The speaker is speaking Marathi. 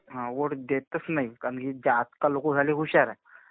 हा. वोट देतच नाही. कारण की ही आजकाल लोकं झाली हुशार.